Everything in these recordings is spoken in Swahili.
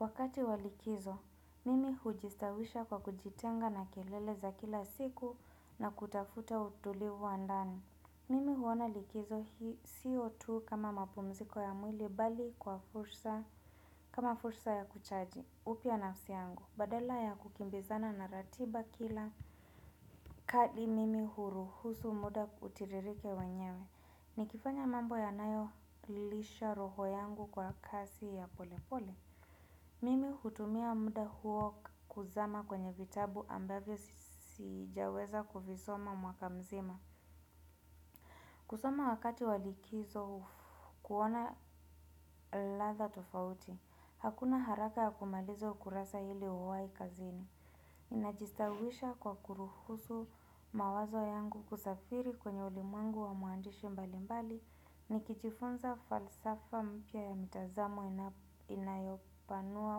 Wakati wa likizo, mimi hujistawisha kwa kujitenga na kelele za kila siku na kutafuta utulivu wa ndani. Mimi huona likizo hii siyo tu kama mapumziko ya mwili bali kwa fursa, kama fursa ya kuchaji upya nafsi yangu. Badala ya kukimbizana na ratiba kila kadi mimi huruhusu muda utiririke wenyewe. Ni kifanya mambo ya nayo lilisha roho yangu kwa kasi ya pole pole. Mimi hutumia muda huo kuzama kwenye vitabu ambavyo sijaweza kuvisoma mwaka mzima. Kusoma wakati wa likizo kuona ladha tofauti. Hakuna haraka ya kumaliza ukurasa ili uwai kazini. Ninajistawisha kwa kuruhusu mawazo yangu kusafiri kwenye ulimwengu wa mwandishi mbalimbali. Ni kijifunza falsafa mpya ya mitazamo inayopanua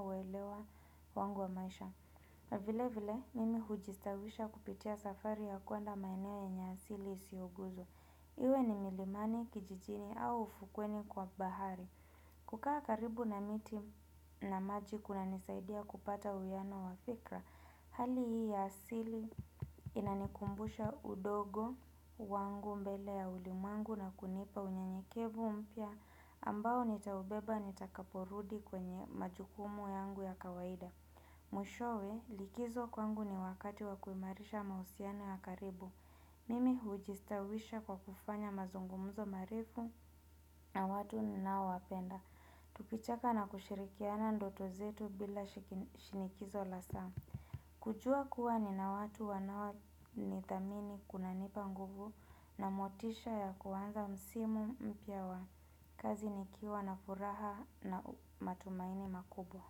uelewa wangu wa maisha. Vile vile mimi hujistawisha kupitia safari ya kwenda maeneo yenye asili isioguzwa. Iwe ni milimani kijijini au ufukweni kwa bahari. Kukaa karibu na miti na maji kuna nisaidia kupata uwiyano wafikra. Hali hii ya asili inanikumbusha udogo wangu mbele ya ulimwengu na kunipa unyenyekevu mpya ambao nitaubeba nitakaporudi kwenye majukumu yangu ya kawaida. Mwishowe likizo kwangu ni wakati wa kuimarisha mahusiano ya karibu. Mimi hujistawisha kwa kufanya mazungumzo marefu na watu ninao wapenda. Tukicheka na kushirikiana ndoto zetu bila shinikizo la saa. Kujuwa kuwa ni na watu wanawo ni thamini kuna nipa nguvu na motisha ya kuwanza msimu mpya wa kazi ni kiwa na furaha na matumaini makubwa.